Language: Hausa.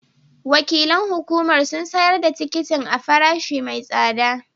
Wakilan hukumar sun sayar da tikitin a farashi mai tsada